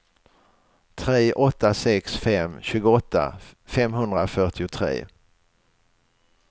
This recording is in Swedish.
tre åtta sex fem tjugoåtta femhundrafyrtiotre